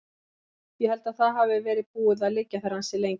Ég held að það hafi verið búið að liggja þar ansi lengi.